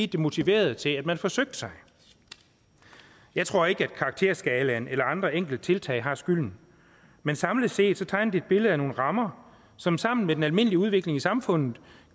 det motiverede til at man forsøgte sig jeg tror ikke at karakterskalaen eller andre enkelttiltag har skylden men samlet set tegner det et billede af nogle rammer som sammen med den almindelige udvikling i samfundet